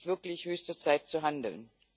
Es ist wirklich höchste Zeit zu handeln